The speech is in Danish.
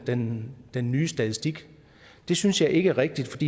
den den nye statistik det synes jeg ikke er rigtigt